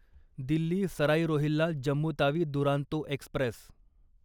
Delhi Sarai Rohilla Jammu Tawi Duronto Express